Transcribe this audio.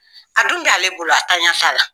A dun b'ale bolo, a tanya t'a la.